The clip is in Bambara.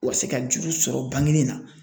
U ka se ka juru sɔrɔ bangeni na